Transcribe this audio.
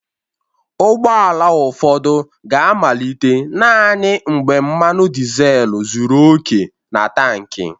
Ụgbọ ala ụfọdụ ga-amalite naanị mgbe mmanụ dizel zuru oke na tankị